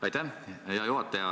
Aitäh, hea juhataja!